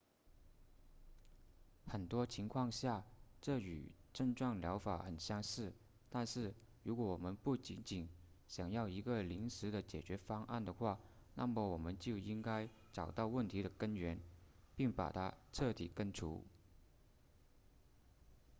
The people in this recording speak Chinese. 很多情况下这和症状疗法很相似但是如果我们不仅仅想要一个临时的解决方案的话那么我们就应该找到问题的根源并把它彻底根除